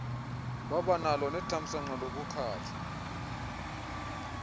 wabanalo nethamsanqa lokukhatshwa